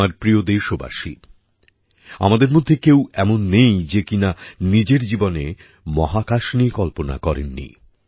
আমার প্রিয় দেশবাসী আমাদের মধ্যে কেউ এমন নেই যে কিনা নিজের জীবনে মহাকাশ নিয়ে কল্পনা করেননি